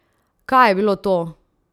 Kaj je bilo to?